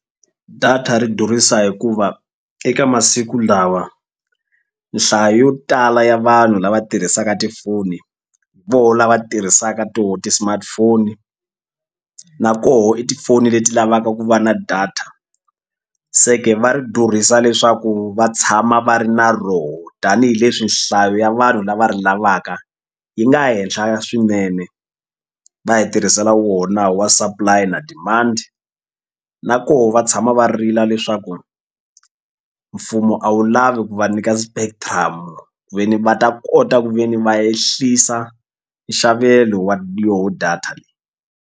Data ri durhisa hikuva eka masiku lawa nhlayo yo tala ya vanhu lava tirhisaka tifoni vo lava tirhisaka to ti-smartphone na koho i tifoni leti lavaka ku va na data se ke va ri durhisa leswaku va tshama va ri na roho tanihileswi nhlayo ya vanhu lava ri lavaka yi nga henhla swinene va hi tirhisela wona wa supply na demand na koho va tshama va rila leswaku mfumo a wu lavi ku va nyika spectum ku ve ni va ta kota ku ve ni va ehlisa nxavelo wa yoho data.